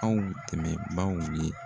Anw tɛmɛbaw ye.